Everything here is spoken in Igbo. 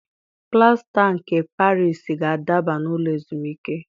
Plasta nke Parisi ga-adaba n'ụlọ ezumike